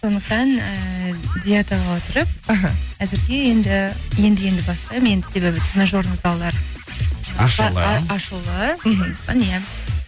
сондықтан ііі диетаға отырып іхі әзірге енді енді енді бастаймын енді себебі тренажерный залдар ашулы мхм міне